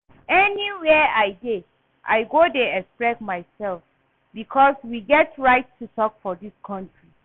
Anywhere I dey I go dey express myself because we get right to talk for dis country